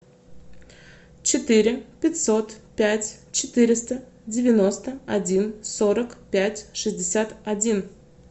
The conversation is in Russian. четыре пятьсот пять четыреста девяносто один сорок пять шестьдесят один